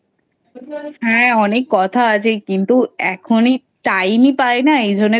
হ্যাঁ অনেক কথা আছে কিন্তু এখনই Time ই পাইনা।